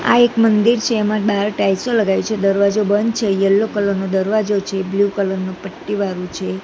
આ એક મંદિર છે એમા બાર ટાઇલ્સો લગાવી છે દરવાજો બંધ છે યેલો કલર નો દરવાજો છે બ્લુ કલર નુ પટ્ટી વાળુ છે.